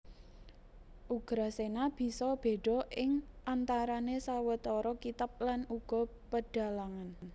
Ugrasena bisa béda ing antarané sawetara kitab lan uga pedhalangan